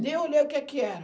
Nem olhei o que que era.